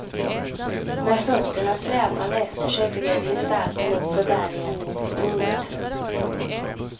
Med fötterna släpande efter sig gled gestalten uppför berget. punkt